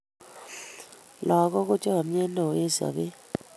lagok ko chamiyet neo eng' sabet